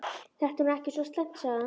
Þetta er nú ekki svo slæmt sagði hann.